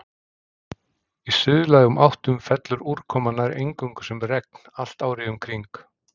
Í suðlægum áttum fellur úrkoma nær eingöngu sem regn allt árið um kring.